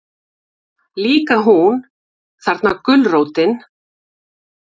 Líka hún, þarna gulrótin.